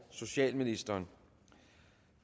socialministeren